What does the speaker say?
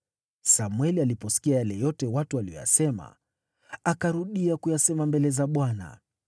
Samweli aliposikia yote watu waliyosema, akarudia kuyasema mbele za Bwana .